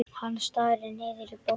Hann starir niður í borðið.